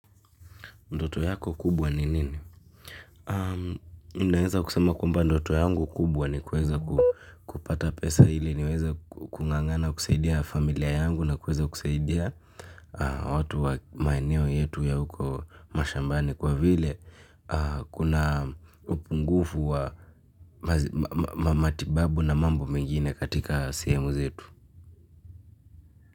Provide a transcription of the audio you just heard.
Ndoto yako kubwa ni nini? Ndoto yangu kubwa ni kuweza kupata pesa ili niweza kung'ang'ana kusaidia familia yangu na kusaidia watu wa maeneo yetu ya huko mashambani kwa vile kuna upungufu wa matibabu na mambo mengine katika sehemu zetu.